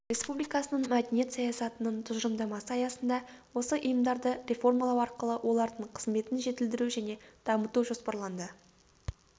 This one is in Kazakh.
республикасының мәдениет саясатының тұжырымдамасы аясында осы ұйымдарды реформалау арқылы олардың қызметін жетілдіру және дамыту жоспарланды